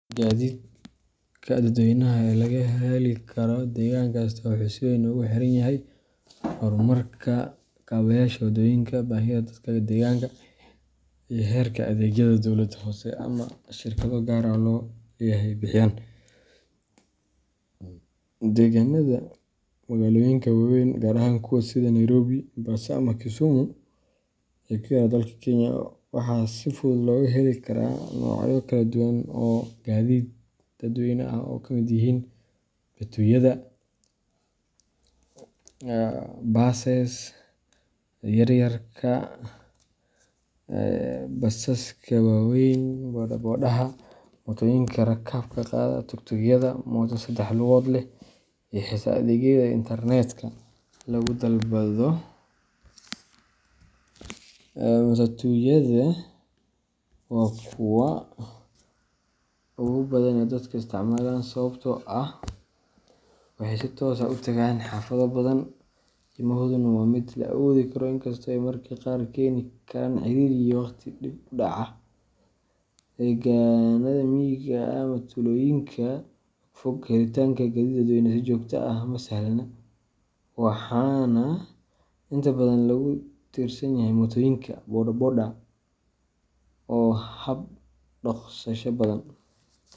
Gaadiidka dadweynaha ee laga heli karo deegaan kasta wuxuu si weyn ugu xiran yahay horumarka kaabeyaasha waddooyinka, baahida dadka deegaanka, iyo heerka adeegyada dowlad hoose ama shirkado gaar loo leeyahay bixiyaan. Deegaannada magaalooyinka waaweyn, gaar ahaan kuwa sida Nairobi, Mombasa ama Kisumu ee ku yaalla dalka Kenya, waxaa si fudud looga heli karaa noocyo kala duwan oo gaadiid dadweyne ah oo ay ka mid yihiin matatuyada buses yaryar, basaska waaweyn, bodabodaha mootooyinka rakaabka qaada, tuktukyada mooto saddex lugood leh, iyo xitaa adeegyada internetka lagu dalbado . Matatuyadu waa kuwa ugu badan ee dadka isticmaalaan sababtoo ah waxay si toos ah u tagaan xaafado badan, qiimahooduna waa mid la awoodi karo, inkastoo ay mararka qaar keeni karaan ciriiri iyo waqtiga dib u dhaca. Deegaannada miyiga ah ama tuulooyinka fogfog, helitaanka gaadiid dadweyne si joogto ah ma sahlana, waxaana inta badan lagu tiirsan yahay mootooyinka boda boda oo ah habka ugu dhaqsasha badan.